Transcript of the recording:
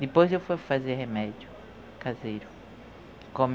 Depois eu fui fazer remédio caseiro.